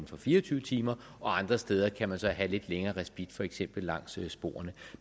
for fire og tyve timer og andre steder kan man så have lidt længere respit for eksempel langs sporene